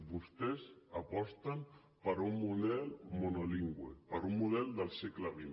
vostès aposten per un model monolingüe per un model del segle xx